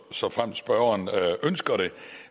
såfremt spørgeren ønsker det